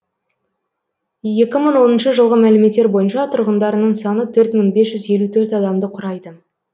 екі мың оныншы жылғы мәліметтер бойынша тұрғындарының саны төрт мың бес жүз елу төрт адамды құрайды